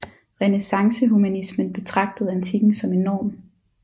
Renæssancehumanismen betragtede antikken som en norm